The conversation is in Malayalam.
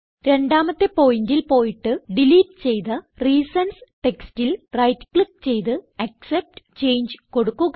രണ്ടാമത്തെ പോയിന്റിൽ പോയിട്ട് ഡിലീറ്റ് ചെയ്ത റീസൻസ് ടെക്സ്റ്റിൽ റൈറ്റ് ക്ലിക്ക് ചെയ്ത് ആക്സെപ്റ്റ് ചങ്ങെ കൊടുക്കുക